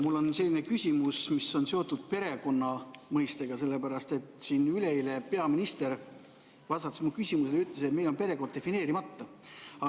Mul on selline küsimus, mis on seotud perekonna mõistega, sellepärast et siin üleeile peaminister, vastates minu küsimusele, ütles, et meil on perekonna mõiste defineerimata.